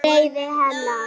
Reiði hennar